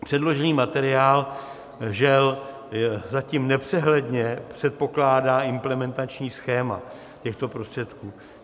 Předložený materiál, žel, zatím nepřehledně předpokládá implementační schéma těchto prostředků.